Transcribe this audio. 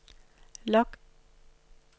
log